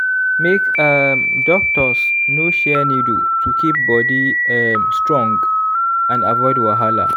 make um doctors no share needle to keep body um strong and avoid wahala.